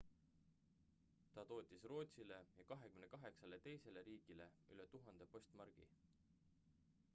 ta tootis rootsile ja 28 teisele riigile üle 1000 postmargi